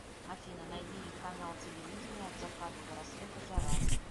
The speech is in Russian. афина найди канал телевидения от заката до рассвета жара